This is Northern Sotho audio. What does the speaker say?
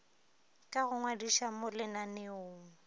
ka go ngwadiša mo lenaneong